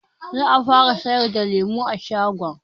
Za a fara sayar da lemu a shagon.